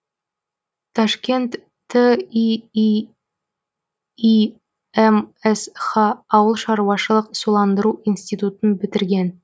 ташкент тииимсх ауыл шаруашылық суландыру институтын бітірген